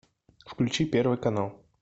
включи первый канал